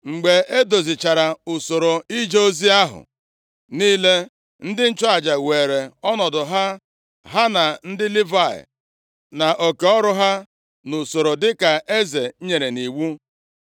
Mgbe e dozichara usoro ije ozi ahụ niile, ndị nchụaja weere ọnọdụ ha, ha na ndị Livayị nʼoke ọrụ ha nʼusoro dịka eze nyere nʼiwu.